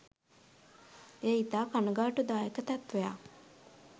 එය ඉතා කණගාටුදායක තත්වයක්